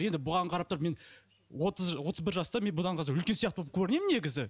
енді бұған қарап тұрып мен отыз отыз бір жаста мен бұдан қазір үлкен сияқты боп көрінемін негізі